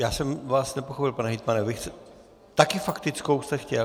Já jsem vás nepochopil, pane hejtmane, také faktickou jste chtěl?